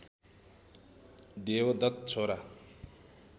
देवदत्त छोरा